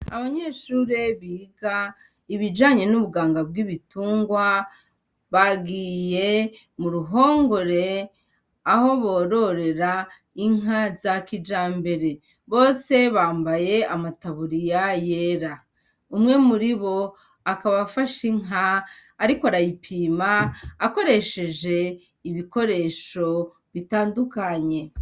Abanyeshuri biga ibijanye n'ubuganga bw'ibitungwa, bagiye mur'urhongore aho bororera inka za kijambere, bose bambaye amataburiya yera, umwe muribo akaba afashe inka ariko arayipima akoresheje ibikoresho bitandukanye.